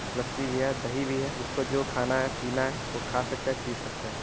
लस्सी भी है। दही भी है। जिसको जो खाना हैं पीना है वह खा सकता है पी सकता है।